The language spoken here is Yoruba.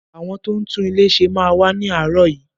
Àwọn tó ń tún ilé ṣe máa wá ni aarọ yìí.